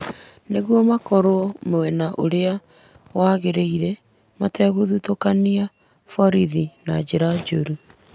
nĩguo makorwo mwena ũrĩa wagĩrĩire mategũthutũkia borithi na njĩra njũru.